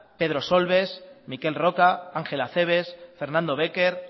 pedro solbes miquel roca ángel acebes fernando béquer